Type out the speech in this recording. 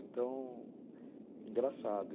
Então, engraçado.